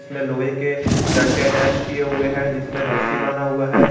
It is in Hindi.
यहाँ लोहे के डंडे अटैच किए हुए हैं जिसमें रस्सी बना हुआ है